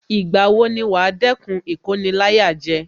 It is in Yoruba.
Ìgbà wo ni wàá dẹ́kun Ìkoni-láyàjẹ